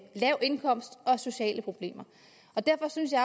lav indkomst og sociale problemer derfor synes jeg